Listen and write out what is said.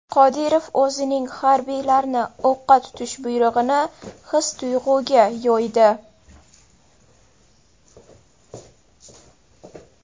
Qodirov o‘zining harbiylarni o‘qqa tutish buyrug‘ini his-tuyg‘uga yo‘ydi.